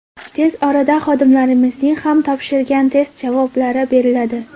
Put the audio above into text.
Tez orada xodimlarimizning ham topshirgan test javoblari beriladi.